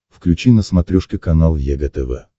включи на смотрешке канал егэ тв